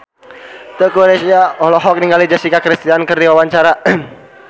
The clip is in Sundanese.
Teuku Rassya olohok ningali Jessica Chastain keur diwawancara